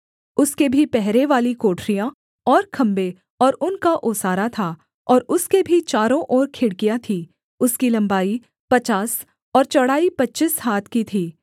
उसके भी पहरेवाली कोठरियाँ और खम्भे और उनका ओसारा था और उसके भी चारों ओर खिड़कियाँ थीं उसकी लम्बाई पचास और चौड़ाई पच्चीस हाथ की थी